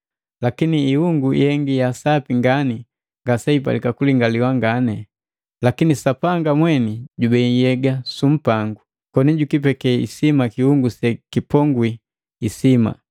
lakini ihungu yengi ya sapi ngani ngaseipalika kulingaliwa ngani. Lakini Sapanga mweni jubei nhyega su mpangu, koni jukipeke isima ngani kiungu sekipongwi isima,